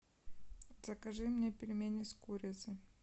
закажи мне пельмени с курицей